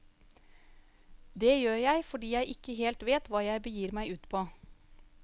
Det gjør jeg fordi jeg ikke helt vet hva jeg begir meg ut på.